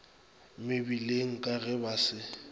mebileng ka ge ba se